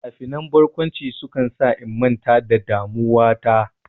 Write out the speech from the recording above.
Finafinan barkwanci sukan sa in manta da damuwa ta.